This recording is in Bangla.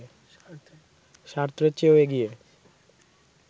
সার্ত্রের চেয়েও এগিয়ে